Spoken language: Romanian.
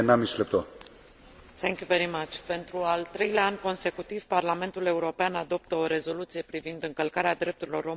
Pentru al treilea an consecutiv Parlamentul European adoptă o rezoluție privind încălcarea drepturilor omului în Republica Democratică Congo.